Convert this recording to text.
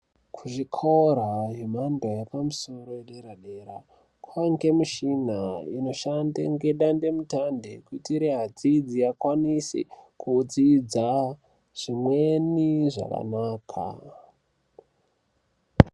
Kuzvikora emhando yepamsoro edera dera kwainge mishina inoshande ngedandemutande kuitire adzidzi akwanise kudzidza zvimweni zvakanaka.